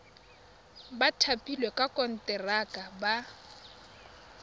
ba thapilweng ka konteraka ba